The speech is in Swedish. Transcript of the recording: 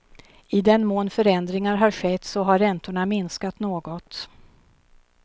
I den mån förändringar har skett så har räntorna minskat något.